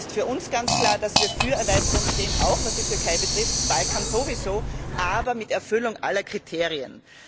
Es ist für uns ganz klar, dass wir für Erweiterung stehen, auch was die Türkei betrifft, den Balkan sowieso, aber mit Erfüllung aller Kriterien.